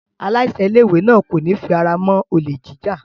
Aláṣẹ ilé-ìwé náà kò ní fi ara mọ́ olè jíjà.